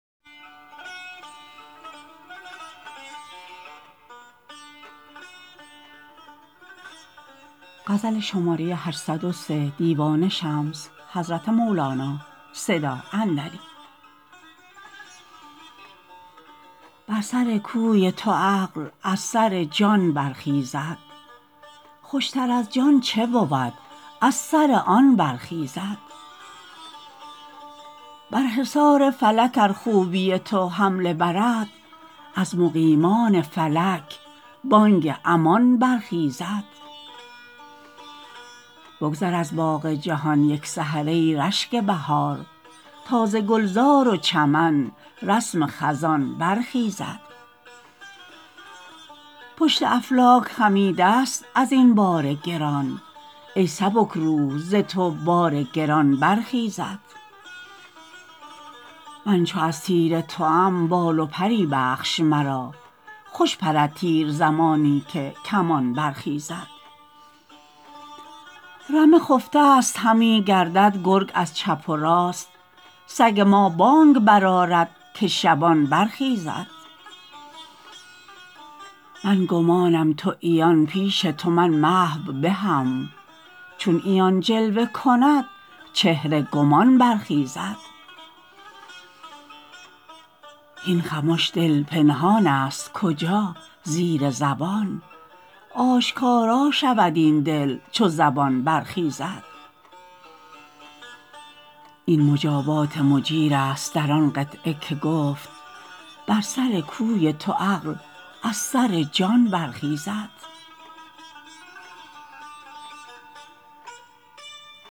بر سر کوی تو عقل از سر جان برخیزد خوشتر از جان چه بود از سر آن برخیزد بر حصار فلک ار خوبی تو حمله برد از مقیمان فلک بانگ امان برخیزد بگذر از باغ جهان یک سحر ای رشک بهار تا ز گلزار و چمن رسم خزان برخیزد پشت افلاک خمیدست از این بار گران ای سبک روح ز تو بار گران برخیزد من چو از تیر توام بال و پری بخش مرا خوش پرد تیر زمانی که کمان برخیزد رمه خفتست همی گردد گرگ از چپ و راست سگ ما بانگ برآرد که شبان برخیزد من گمانم تو عیان پیش تو من محو به هم چون عیان جلوه کند چهره گمان برخیزد هین خمش دل پنهانست کجا زیر زبان آشکارا شود این دل چو زبان برخیزد این مجابات مجیر است در آن قطعه که گفت بر سر کوی تو عقل از سر جان برخیزد